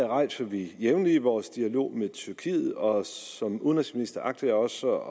rejser vi jævnligt i vores dialog med tyrkiet og som udenrigsminister agter jeg også